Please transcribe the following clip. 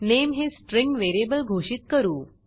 nameनेम हे string variable घोषित करू